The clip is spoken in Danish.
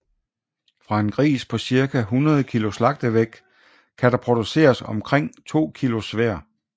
Fra en gris på cirka 100 kg slagtevægt kan der produceres omkring to kilo svær